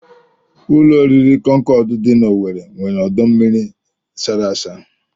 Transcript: Ụlọoriri Concorde dị n'Owere nwere ọdọmmiri sara asa